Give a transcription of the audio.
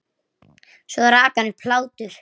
Svo rak hann upp hlátur.